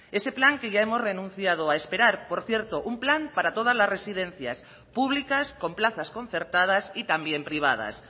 ese plan que ya hemos renunciado a esperar por cierto un plan para todas las residencias públicas con plazas concertadas y también privadas